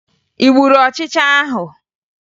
Ị gburu ọchịcha ahụ?